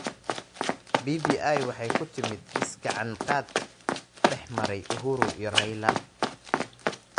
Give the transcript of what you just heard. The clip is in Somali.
BBI waxay ku timid is-gacan-qaad dhexmaray Uhuru iyo Raila.